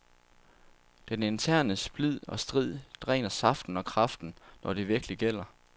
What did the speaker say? Den interne splid og strid dræner saften og kraften, når det virkelig gælder.